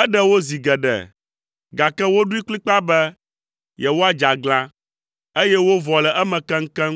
Eɖe wo zi geɖe, gake woɖoe kplikpaa be yewoadze aglã, eye wovɔ le eme keŋkeŋ